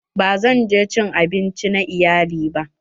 Ba zan je cin abinci na iyali ba.